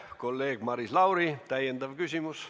Kolleeg Maris Lauri, täiendav küsimus.